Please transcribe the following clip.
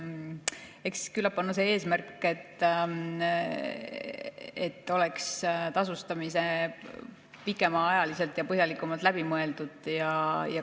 Eks küllap on eesmärk see, et tasustamine oleks pikemaajaliselt ja põhjalikumalt läbi mõeldud.